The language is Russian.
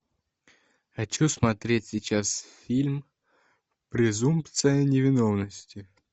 хочу смотреть сейчас фильм презумпция невиновности